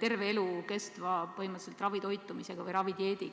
terve elu kestva ravitoitumisega.